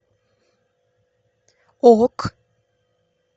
ок